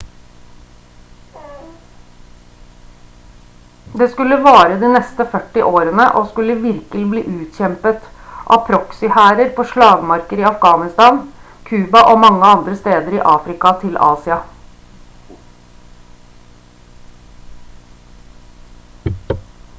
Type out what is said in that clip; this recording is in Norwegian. det skulle vare de neste 40 årene og skulle virkelig bli utkjempet av proxyhærer på slagmarker i afghanistan cuba og mange andre steder i afrika til asia